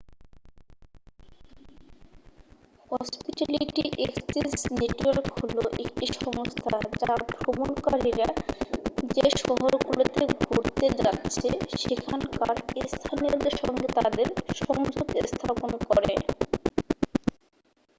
hospitality exchange network হলো একটি সংস্থা যা ভ্রমণকারীরা যে শহরগুলোতে ঘুরতে যাচ্ছে সেখানকার স্থানীয়দের সঙ্গে তাদের সংযোগ স্থাপন করে